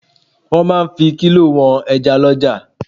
Wọ́n máa ń fi kílò wọn ẹja lọ́jà.